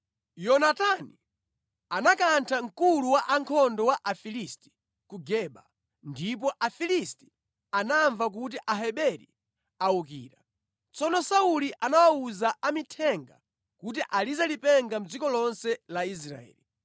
Yonatani anakantha mkulu wa ankhondo wa Afilisti ku Geba, ndipo Afilisti anamva kuti Aheberi awukira. Tsono Sauli anawuza amithenga kuti alize lipenga mʼdziko lonse la Israeli.